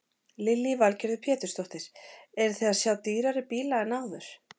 Lillý Valgerður Pétursdóttir: Eruð þið að sjá dýrari bíla en áður?